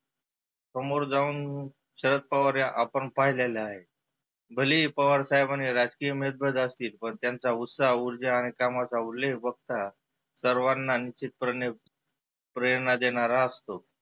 समोर जाऊन शरद पवार हे आपण पाहिले आहेत. भलेही पवार साहेबानी राजकीय उमेद्वार असतील पण त्याचा उत्साह उर्जा आणि कामाचा उल्लेख बघता सर्वांना अनुचीत प्रणे प्रेरणा देणारा असतो.